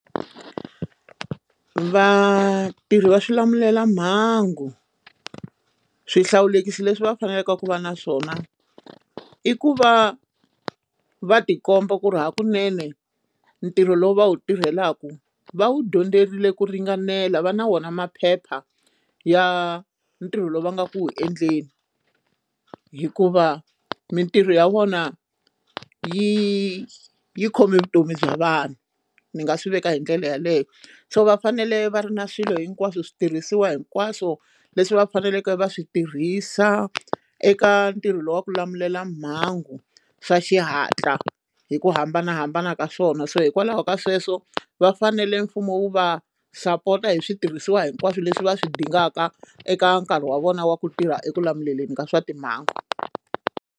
Vatirhi va swilamulelamhangu swihlawulekisi leswi va faneleke ku va na swona i ku va va tikomba ku ri hakunene or ntirho lowu va wu tirhelaka va wu dyondzerile ku ringanela va na wona maphepha ya ntirho lowu va nga ku endleni hikuva mitirho ya vona yi yi khome vutomi bya vanhu ni nga swi veka hi ndlela yeleyo so va fanele va ri na swilo hinkwaswo switirhisiwa hinkwaswo leswi va faneleke va swi tirhisa eka ntirho lowu wa ku lamulela mhangu swa xihatla hi ku hambanahambana ka swona so hikwalaho ka sweswo va fanele mfumo wu va sapota hi switirhisiwa hinkwaswo leswi va swi dingaka eka nkarhi wa vona wa ku tirha eku lawuleni ka swa timhangu.